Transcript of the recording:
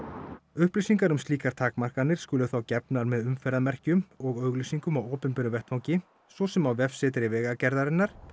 upplýsingar um slíkar takmarkanir skulu þá gefnar með umferðarmerkjum og auglýsingum á opinberum vettvangi svo sem á vefsetri Vegagerðarinnar